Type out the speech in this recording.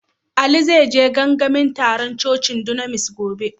Ali zai je gangamin tarun cocin dunamis gobe.